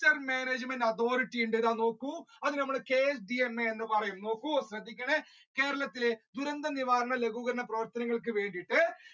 management authority അതിൽ നമ്മൾ KCMA എന്ന് പറയുന്നു. നോക്കൂ ശ്രദ്ധിക്കണേ കേരളത്തിലെ ദുരന്ത നിവാരണ ലഘൂകരണ പ്രവർത്തനങ്ങൾക്ക് വേണ്ടിയിട്ട്